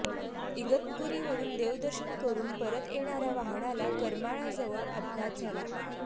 इगतपुरीवरुन देवदर्शन करुन परत येणाऱ्या वाहनाला करमाळाजवळ अपघात झाला